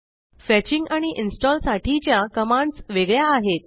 fetching आणि install साठीच्या commands वेगळ्या आहेत